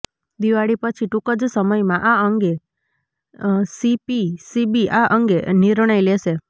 દિવાળી પછી ટૂંક જ સમયમાં આ અંગે સીપીસીબી આ અંગે નિર્ણય લેશે